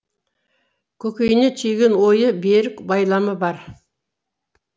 көкейіне түйген ойы берік байламы бар